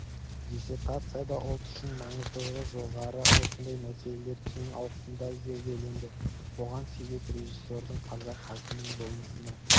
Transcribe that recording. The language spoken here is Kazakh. диссертацияда ұлт үшін маңыздылығы жоғары осындай мәселелер кең ауқымда зерделенді бұған себеп режиссердің қазақ халқының болмысына